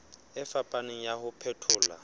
e fapaneng ya ho phethola